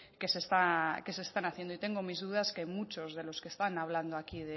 que se está que se están haciendo y tengo mis dudas que muchos de los que están hablando aquí